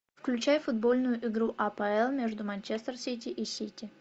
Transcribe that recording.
включай футбольную игру апл между манчестер сити и сити